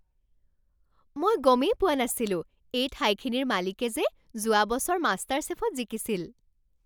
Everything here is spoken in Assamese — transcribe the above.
মই গমেই পোৱা নাছিলো এই ঠাইখিনিৰ মালিকে যে যোৱা বছৰ মাষ্টাৰছেফত জিকিছিল!